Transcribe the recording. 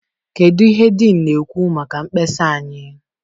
kedụ ihe dean na-ekwu maka mkpesa anyị?